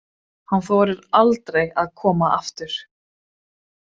Hann þorir aldrei að koma aftur.